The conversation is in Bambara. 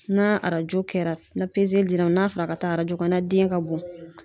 Na arajo kɛra na pezeli dir'a ma na fɔ l'a ka taa arajo kɛ na den ka bon